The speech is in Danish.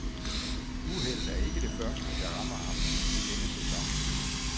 Uheldet er ikke det første, der rammer ham i denne sæson.